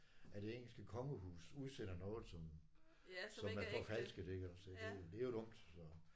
At det engelske kongehus udsender noget som som er forfalsket iggås og det det er jo dumt